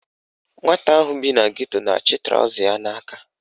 Nwata ahụ bi na geto na-achị trọza ya n'aka